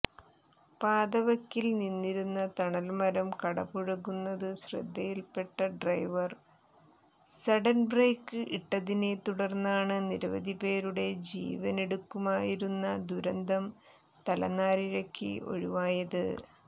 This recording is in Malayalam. പാതവക്കിൽ നിന്നിരുന്ന തണൽമരം കടപുഴകുന്നത് ശ്രദ്ധയിൽപ്പെട്ട ഡ്രൈവർ സഡൺബ്രേക്ക് ഇട്ടതിനെ തുടർന്നാണ് നിരവധിപേരുടെ ജീവനെടുക്കുമായിരുന്ന ദുരന്തം തലനാരിഴക്ക് ഒഴിവായത്